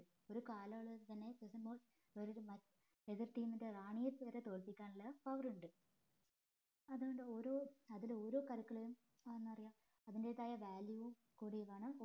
ഒര് കാല അളവിൽ തന്നെ എതിർ team ന്റെ റാണിയെ തന്നെ തോൽപ്പിക്കാനുള്ള power ഉണ്ട് അതുകൊണ്ട് ഓരോ അതിൽ ഓരോ കരുക്കളെയും എന്താ പറയാ അതിന്റെതായ value വും കൂടെ കാണാം